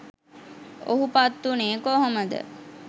ඔහු පත් වුණේ කොහොමද?